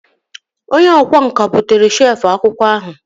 Onye ọkwá nkà bụtere shelf akwụkwọ ahụ